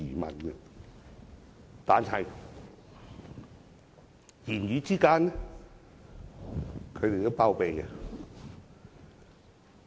不過，言語之間，他們也有包庇。